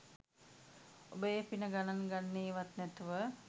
ඔබ ඒ පින ගණන් ගන්නේවත් නැතුව